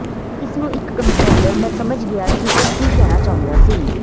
ਇਸ ਨੂੰ ਇੱਕ ਕੰਪ੍ਰੈੰਡਰ ਕ ਮੈਂ ਸਮਝ ਗਿਆ ਕਿ ਉਹ ਕੀ ਕਹਿਣਾ ਚਾਹੁੰਦਾ ਸੀ